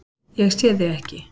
Ég sé þig ekki.